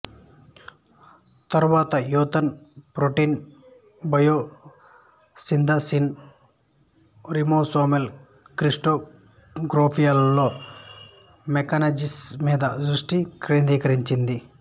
తరువాత Yonath protein biosynthesis ribosomal క్రిస్టలోగ్రఫీలలో mechanisms మీద దృష్టి కేంద్రీకరించింది